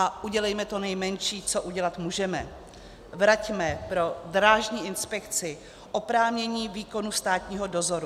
A udělejme to nejmenší, co udělat můžeme: vraťme pro Drážní inspekci oprávnění výkonu státního dozoru.